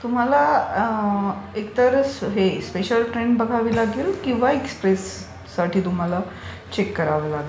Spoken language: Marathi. तुम्हाला एकतर स्पेशल ट्रेन बघावी लागेल किंवा एक्सप्रेस साठी तुम्हाला चेक करावं लागेल.